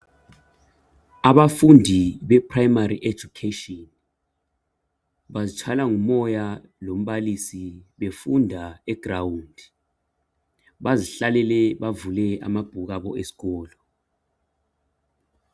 Abafundi be primary education, bazitshayelwa ngumoya lombalisi befunda e ground. Bazihlalele bavule amabhuku abo eskolo.